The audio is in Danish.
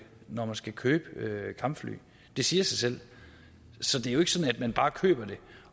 når man skal købe kampfly det siger sig selv så det er jo ikke sådan at man bare køber det